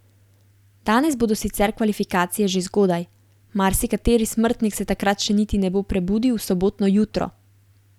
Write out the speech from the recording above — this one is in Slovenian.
Danes bodo sicer kvalifikacije že zgodaj, marsikateri smrtnik se takrat še niti ne bo prebudil v sobotno jutro.